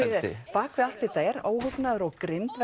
bak við allt þetta er óhugnaður og grimmd